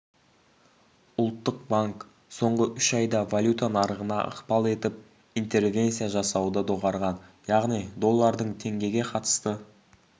ұлттық банк соңғы үш айда валюта нарығына ықпал етіп интервенция жасауды доғарған яғни доллардың теңгеге қатысты